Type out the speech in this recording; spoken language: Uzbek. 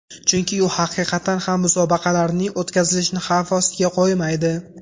Chunki u haqiqatan ham musobaqalarning o‘tkazilishini xavf ostiga qo‘ymaydi.